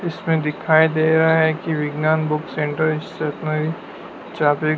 इसमें दिखाइ दे रहा है कि विज्ञान बुक सेंटर ।